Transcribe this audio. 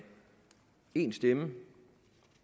én stemme